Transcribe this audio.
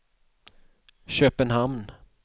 Köpenhamn